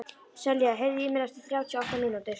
Selja, heyrðu í mér eftir þrjátíu og átta mínútur.